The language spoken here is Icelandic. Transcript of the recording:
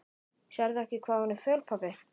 Sérðu ekki hvað hún er föl, pabbi?